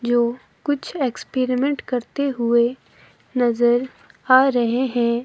जो कुछ एक्सपेरीमेंट करते हुए नजर आ रहे हैं।